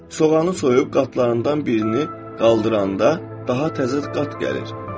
Soğanı soyub qatlarından birini qaldıranda daha təzə qat gəlir.